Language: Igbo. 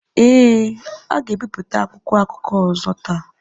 Ee, ha ga-ebipụta akwụkwọ akụkọ ọzọ taa.